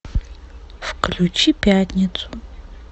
включи пятницу